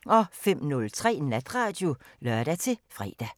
05:03: Natradio (lør-fre)